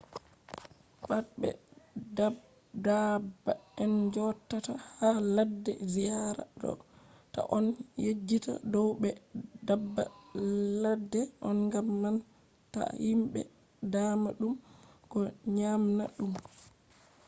pat be daabba en joɗata ha ladde ziyara ɗo ta on yejjita dow ɓe daabba ladde on gam man ta himɓe dama ɗum ko nyamna ɗum